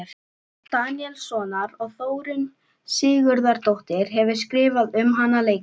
Daníelssonar, og Þórunn Sigurðardóttir hefur skrifað um hana leikrit.